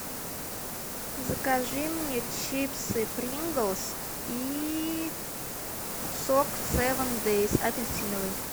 закажи мне чипсы принглс и сок севен дейс апельсиновый